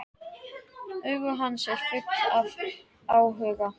Augu hans eru full af áhuga.